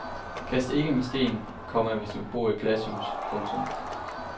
Kast ikke med sten, komma hvis du bor i et glashus. punktum